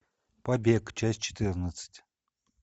побег часть четырнадцать